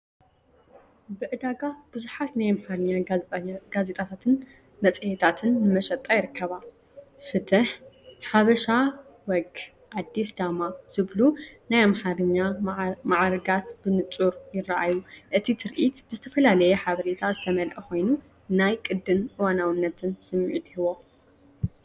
ብ ዕዳጋ ብዙሓት ናይ ኣምሓርኛ ጋዜጣታትን መጽሔታትን ንመሸጣ ይርከባ። "ፍትህ"፡ "ሓበሻ ወግ"፡ "ኣዲስ ዳማ" ዝብሉ ናይ ኣምሓርኛ መዓርጋት ብንጹር ይረኣዩ። እቲ ትርኢት ብዝተፈላለየ ሓበሬታ ዝተመልአ ኮይኑ፡ ናይ ቅዲን እዋናውነትን ስምዒት ይህቦ።